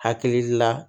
Hakili la